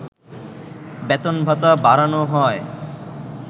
বেতন-ভাতা বাড়ানো হয়